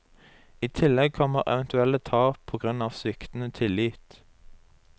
I tillegg kommer eventuelle tap på grunn av sviktende tillit.